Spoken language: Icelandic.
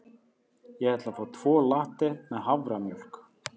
Ég ætla að fá tvo latte með haframjólk.